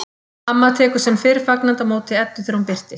Amma tekur sem fyrr fagnandi á móti Eddu þegar hún birtist.